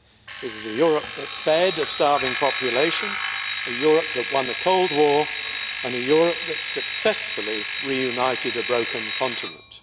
It was a Europe that fed a starving population, a Europe that won the Cold War and a Europe that successfully reunited a broken continent.